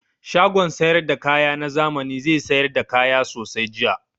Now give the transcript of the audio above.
Shagon sayar da kaya na zami zai sayar da kaya sosai jiya.